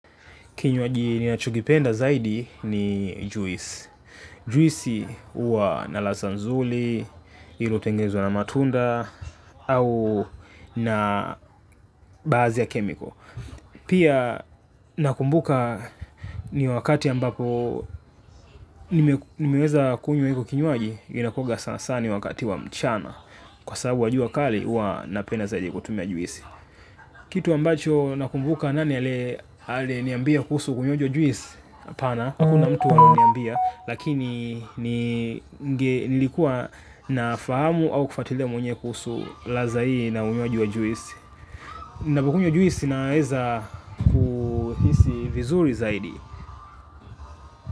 Kinywaji ninachokipenda zaidi ni juice. Juisi huwa na ladha nzuri, iliyo tengenezwa na matunda, au na baadhi ya kemiko. Pia nakumbuka ni wakati ambapo nimeweza kunywa hiko kinyuaji, inakuanga sana sana wakati wa mchana. Kwa sababu wa jua kali, huwa napenda zaidi kutumia juisi. Kitu ambacho nakumbuka nani aliye niambia kuhusu unywaji juisi? Hapana, hakuna mtu aliyeniambia, lakini nilikuwa nafahamu au kufuatilia mwenyewe kuhusu ladha hii na unywaji juisi. Napokunywa juisi naeza kuhisi vizuri zaidi.